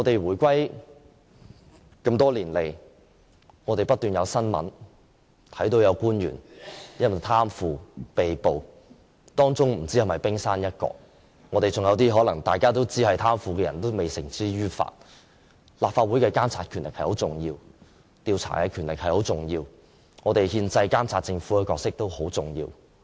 回歸多年來，不斷看到有官員因為貪腐被捕的新聞，不知是否冰山一角，還有一些大家都知道是貪腐的人未繩之於法，立法會的監察、調查的權力很重要，監察政府的憲制角色也很重要。